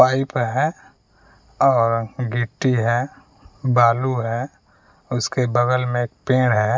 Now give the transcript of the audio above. Pipe है और गिट्टी है बालू है उसके बगल में एक पेंड़ है।